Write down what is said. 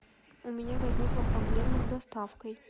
у меня возникла проблема с доставкой